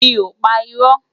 Mi ó pá irò